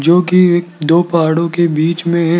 जो कि एक दो पहाड़ों के बीच में है।